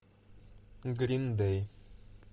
грин дэй